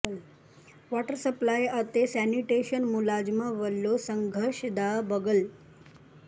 water supply and sanitation ਮੁਲਾਜ਼ਮਾਂ ਵੱਲੋਂ ਸੰਘਰਸ਼ ਦਾ ਬਿਗੁਲ